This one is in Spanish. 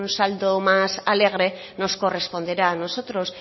saldo más alegre nos corresponderá a nosotros